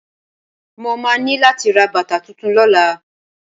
Mo máa ní láti ra bàtà tuntun lọ́la.